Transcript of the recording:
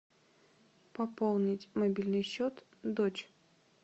пополнить мобильный счет дочь